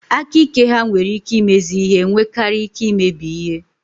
Aka ike ha nwere ike imezi ihe nwekara ike imebi ihe.